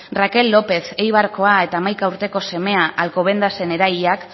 raquel lopez eibarkoa eta hamaika urteko semea alcobendasen erailak